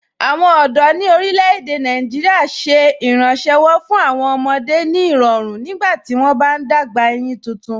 Awọn ọdọ ni orílẹ̀-èdè Nàìjíríà ṣẹ̀ ìrànṣéwọ́ fún awọn ọmọdé ni irọ̀run nígbàtí wọn bá n dágbà eyín tuntun.